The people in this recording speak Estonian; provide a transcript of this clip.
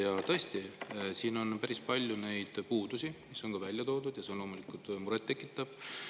Ja tõesti, selles on päris palju puudusi välja toodud, ja see on loomulikult muret tekitav.